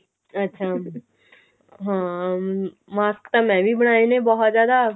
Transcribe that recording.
ਅੱਛਾ ਹਾਂ ਅਮ mask ਤਾਂ ਮੈਂ ਵੀ ਬਣਾਏ ਨੇ ਬਹੁਤ ਜਿਆਦਾ